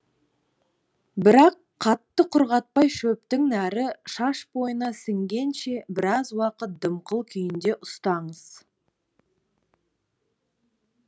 бірақ қатты құрғатпай шөптің нәрі шаш бойына сіңгенше біраз уақыт дымқыл күйінде ұстаңыз